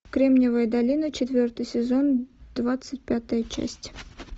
кремниевая долина четвертый сезон двадцать пятая часть